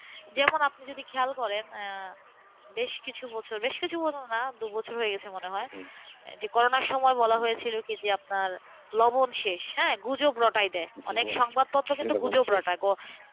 যেমন আপনি যদি খেয়াল করেন, বেশ কিছু বছর, বেশ কিছু বছর না দুই বছর হয়ে গেছে মনে হয় যে করোনা সময় বলা হয়েছিল কি যে আপনার লবণ শেষগুজব রটায় দেয়অনেক সংবাদপত্র শুধু গুজব রটায়,